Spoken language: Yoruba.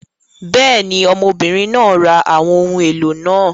Bẹ́ẹ̀ ni, ọmọbìnrin náà ra àwọn ohun èlò náà.